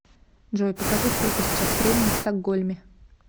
джой покажи сколько сейчас времени в стокгольме